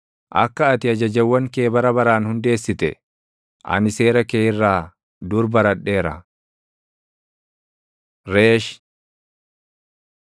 Akka ati ajajawwan kee bara baraan hundeessite, ani seera kee irraa dur baradheera. ר Reesh